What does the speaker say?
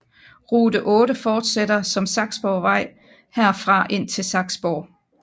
Rute 8 fortsætter som Saksborgvej herfra indtil Saksborg